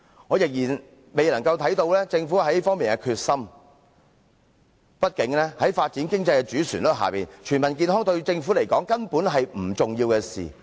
我仍然未能看見政府在這方面的決心，畢竟在發展經濟的主旋律下，全民健康對政府而言根本是不重要的事。